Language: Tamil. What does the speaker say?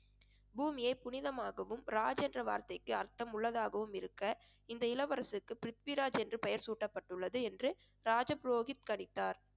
பூமியே புனிதமாகவும் ராஜ் என்ற வார்த்தைக்கு அர்த்தமுள்ளதாகவும் இருக்க இந்த இளவரசருக்கு பிரித்விராஜ் என்று பெயர் சூட்டப்பட்டுள்ளது என்று ராஜ புரோகித் கணித்தார்